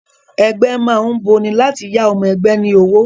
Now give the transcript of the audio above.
Ẹgbẹ́ má ń boni, láti yá ọmọ ẹgbẹ́ ní owó